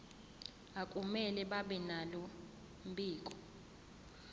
akumele babenalo mbiko